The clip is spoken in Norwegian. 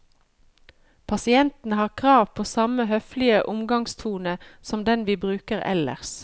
Pasientene har krav på samme høflige omgangstone som den vi bruker ellers.